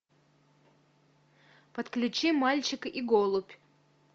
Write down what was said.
подключи мальчик и голубь